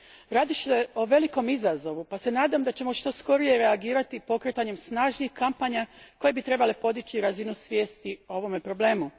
Radi se o velikom izazovu, pa se nadam da ćemo što skorije reagirati pokretanjem snažnih kampanja koje bi trebale podići razinu svijesti o ovome problemu.